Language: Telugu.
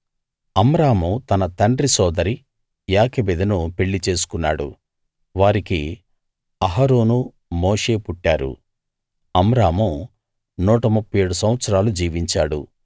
అమ్రాము తన తండ్రి సోదరి యోకెబెదును పెళ్లి చేసుకున్నాడు వారికి అహరోను మోషే పుట్టారు అమ్రాము 137 సంవత్సరాలు జీవించాడు